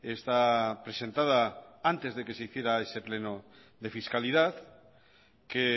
está presentada antes de que se hiciera ese pleno de fiscalidad que